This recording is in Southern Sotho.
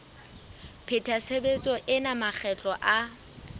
pheta tshebetso ena makgetlo a